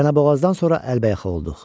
Çənəboğazdan sonra əlbəyaxa olduq.